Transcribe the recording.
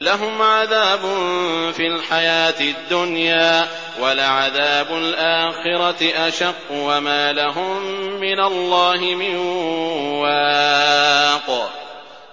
لَّهُمْ عَذَابٌ فِي الْحَيَاةِ الدُّنْيَا ۖ وَلَعَذَابُ الْآخِرَةِ أَشَقُّ ۖ وَمَا لَهُم مِّنَ اللَّهِ مِن وَاقٍ